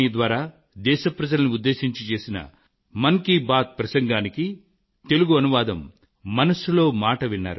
మీ జీవితంలో విజయం ఉల్లాసం నిండు గాక